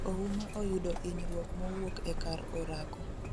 Ouma oyudo inyruok mowuok e kar orako